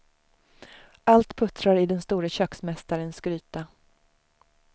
Allt puttrar i den store köksmästarens gryta.